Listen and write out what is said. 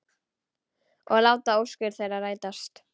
Og láta óskir þeirra rætast.